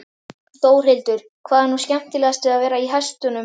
Þórhildur: Hvað er nú skemmtilegast við að vera í hestunum?